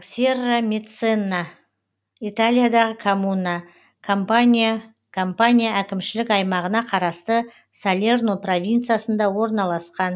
серрамеццана италиядағы коммуна кампания кампания әкімшілік аймағына қарасты салерно провинциясында орналасқан